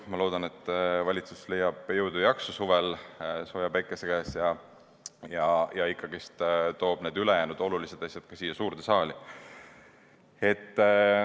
Ma loodan, et valitsus leia suvel sooja päikese käes jõudu ja jaksu ning toob ikkagi ka ülejäänud olulised asjad siia suurde saali.